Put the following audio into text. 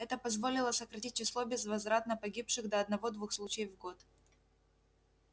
это позволило сократить число безвозвратно погибших до одного-двух случаев в год